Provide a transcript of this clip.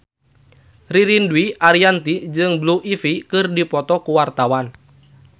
Ririn Dwi Ariyanti jeung Blue Ivy keur dipoto ku wartawan